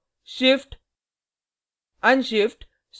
push pop shift